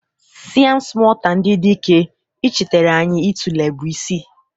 Siam smota ndị dike, ichetara anyị itule bụ isi.